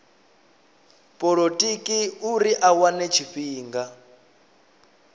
polotiki uri a wane tshifhinga